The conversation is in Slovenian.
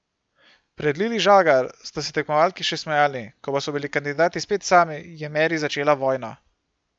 Pred Lili Žagar sta se tekmovalki še smejali, ko pa so bili kandidati spet sami, je Meri začela vojno.